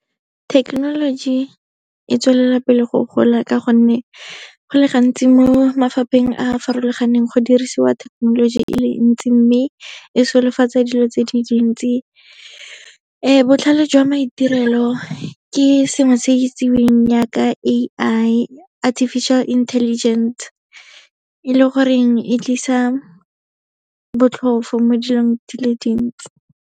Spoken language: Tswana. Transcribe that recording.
Thekenoloji e tswelela pele go gola ka gonne, go le gantsi mo mafapheng a a farologaneng go dirisiwa thekenoloji e le ntsi, mme e solofatsa dilo tse di dintsi. Botlhale jwa maitirelo ke sengwe se se itsiweng yaaka A_I, artificial intelligence, e leng gore e tlisa botlhofo mo dilong dile dintsi.